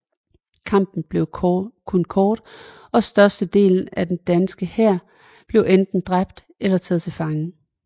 Kampen blev kun kort og størstedelen af den danske hær blev enten dræbt eller taget til fange